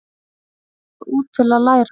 Fóru út til að læra